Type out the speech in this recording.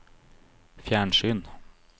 fjernsyn